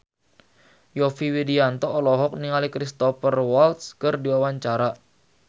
Yovie Widianto olohok ningali Cristhoper Waltz keur diwawancara